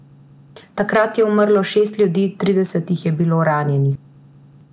Takrat je umrlo šest ljudi, trideset jih je bilo ranjenih.